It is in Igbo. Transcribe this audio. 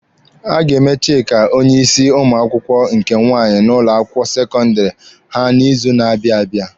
A ga-eme Chika onye isi ụmụ akwụkwọ nke nwaanyị n'ụlọ akwụkwọ sekọndịrị ha n'izu na-abịa abịa.